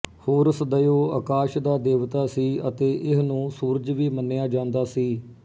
horse ਦਇਓ ਅਕਾਸ ਦਾ ਦੇਵਤਾ ਸੀ ਅਤੇ ਇਹਨੂੰ ਸੂਰਜ ਵੀ ਮੰਨਿਆ ਜਾਂਦਾ ਸੀ